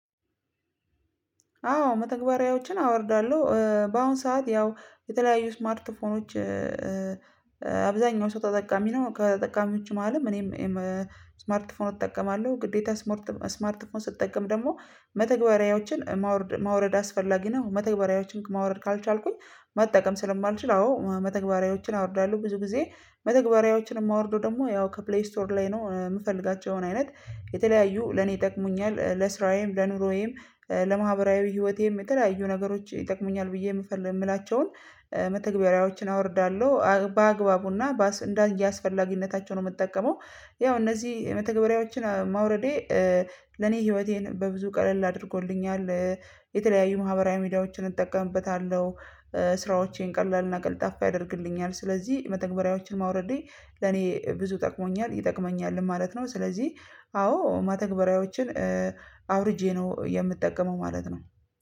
አዎ መተግበሪያዎችን አወርዳለሁ በአሁን ሰዓት ያው የተለያዩ ስማርትፎኖች አብዛኛው ሰው ተጠቃሚ ነው። ከተጠቃሚዎቹ መሃልም እኔም ስማርት ፎን እጠቀማለሁ። ግዴታ ስማርት ፎን ስትጠቀም ደግሞ መተግበሪያዎችን ማውረድ አስፈላጊ ነው። መተግበሪያዎችን ማውረድ ካልቻልኩኝ መጠቀም ስለማልችል። አዎ መተግበሪያዎችን አወርዳለሁ ብዙ ጊዜ። መተግበሪያዎችን የማወርደው ደግሞ ያው ከፕሌይ ስቶር ላይ ነው። የምፈልጋቸውን አይነት የተለያዩ ለኔ ይጠቅሙኛል ለስራዬም ለኑሮዬም ለማህበራዊ ህይወቴም የተለያዩ ነገሮች ይጠቅሙኛል ብዬ የምፈልግ የምላቸውን መተግበሪያዎችን አወርዳለሁ። በአግባቡና እንደ አስፈላጊነታቸው ነው የምጠቀመው። ያው እነዚህ የመተግበሪያዎችን ማውረዴ ለኔ ህይወቴን በብዙ ቀለል አድርጎልኛል። የተለያዩ ማህበራዊ ሚዲያዎችን እጠቀምበታለሁ። ስራዎቼን ቀላልና ቅልጣፋ ያደርግልኛል። ስለዚህ መተግበሪያዎችን ማውረዴ ለኔ ብዙ ጠቅሞኛል ይጠቅመኛል ማለት ነው። ስለዚህ አዎ መተግበሪያዎችን አውርጄ ነው የምጠቀመው ማለት ነው